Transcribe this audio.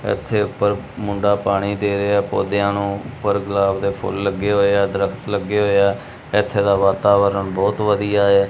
ਏੱਥੇ ਊਪਰ ਮੁੰਡਾ ਪਾਣੀ ਦੇ ਰਿਹਾ ਹੈ ਪੌਧਿਆਂ ਨੂੰ ਉਪਰ ਗੁਲਾਬ ਦੇ ਫੁੱਲ ਲੱਗੇ ਹੋਇਆ ਦਰੱਖਤ ਲੱਗੇ ਹੋਇਆ ਏੱਥੇ ਦਾ ਵਾਤਾਵਰਣ ਬਹੁਤ ਵਧੀਆ ਹੈ।